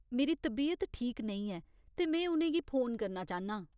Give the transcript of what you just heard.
मेरी तबीयत ठीक नेईं ऐ ते में उ'नें गी फोन करना चाह्न्नां ।